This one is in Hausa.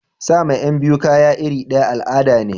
Sama Yan biyu kaya irir daya al'ada ne.